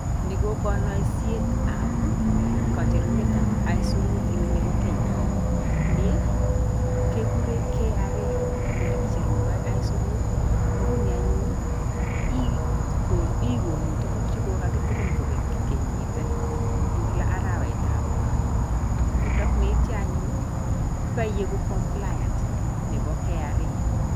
Ni ko kainasietab kocherunetab isurut nebo Kenya. Nii, keguren KRA ole kicherundoi isurut. Nguni anyun, igonu tuguk che kokatilin kobeek kenyit en kila arawetab lo. Yeityo anyun, kokaigu Compliant nebo KRA.